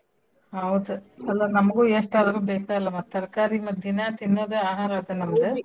ಹೌದ್ ಅಲ್ಲ ನಮಗೂ ಎಸ್ಟಾದ್ರೂ ಬೇಕ ಅಲ್ ಮತ್ತ್ ತರ್ಕಾರಿ ಮತ್ ದಿನಾ ತಿನ್ನೂದ ಆಹಾರ ಅದ .